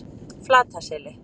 Flataseli